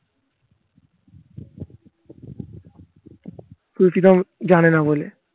জানে না বলে